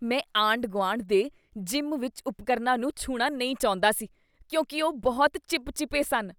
ਮੈਂ ਆਂਢ ਗੁਆਂਢ ਦੇ ਜਿਮ ਵਿੱਚ ਉਪਕਰਨ ਾਂ ਨੂੰ ਛੂਹਣਾ ਨਹੀਂ ਚਾਹੁੰਦਾ ਸੀ ਕਿਉਂਕਿ ਉਹ ਬਹੁਤ ਚਿਪ ਚਿਪੇ ਸਨ